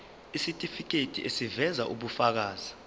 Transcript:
isitifiketi eziveza ubufakazi